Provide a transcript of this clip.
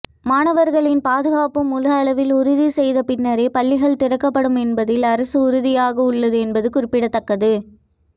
மாணவர்களின் பாதுகாப்பு முழு அளவில் உறுதி செய்த பின்னரே பள்ளிகள் திறக்கப்படும் என்பதில் அரசு உறுதியாக உள்ளது என்பது குறிப்பிடத்தக்கது